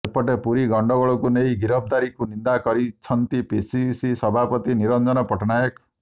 ସେପଟେ ପୁରୀ ଗଣ୍ଡଗୋଳକୁ ନେଇ ଗିରଫଦାରୀକୁ ନିନ୍ଦା କରିଛନ୍ତି ପିସିସି ସଭାପତି ନିରଞ୍ଜନ ପଟ୍ଟନାୟକ